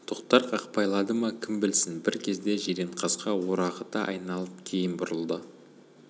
тоқтар қақпайлады ма кім білсін бір кезде жиренқасқа орағыта айналып кейін бұрылды